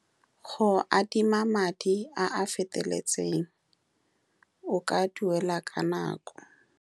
Go adima madi a a feteletsen. O ka duela ka nako.